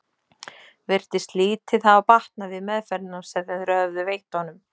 Virtist lítið hafa batnað við meðferðina sem þeir höfðu veitt honum.